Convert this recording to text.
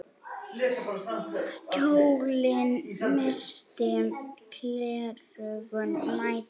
Kjólinn missti klerkur mæddur.